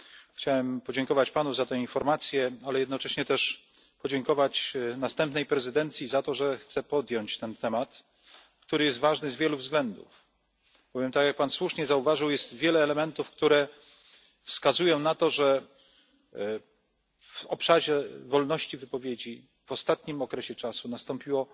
Chciałbym podziękować Panu za te informacje, ale jednocześnie też podziękować następnej prezydencji za to, że chce podjąć ten temat, który jest ważny z wielu względów. Bowiem, jak słusznie Pan zauważył, wiele elementów wskazuje na to, że w obszarze wolności wypowiedzi w ostatnim okresie nastąpiło